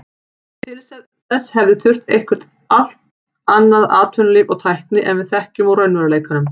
Til þess hefði þurft eitthvert allt annað atvinnulíf og tækni en við þekkjum úr raunveruleikanum.